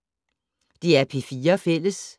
DR P4 Fælles